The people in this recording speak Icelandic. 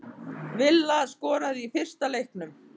Villa skoraði í fyrsta leiknum